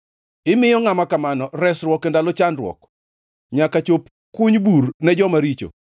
imiyo ngʼama kamano resruok e ndalo chandruok, nyaka chop kuny bur ne joma richo.